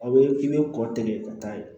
A bɛ i bɛ kɔ tigɛ ka taa yen